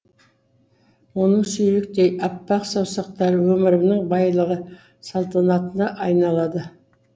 оның сүйріктей аппақ саусақтары өмірімнің байлығы салтанатына айналады